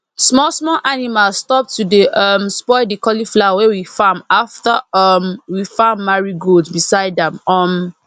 small small animals stop to dey um spoil the cauliflower wey we farm after um we farm marigolds beside am um